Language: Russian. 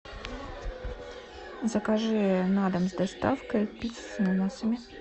закажи на дом с доставкой пицца с ананасами